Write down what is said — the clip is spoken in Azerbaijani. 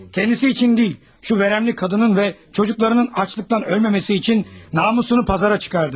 Kəndisi üçün deyil, şu vərəmli qadının və çocuklarının aclıqdan ölməməsi üçün namusunu pazara çıxartdı.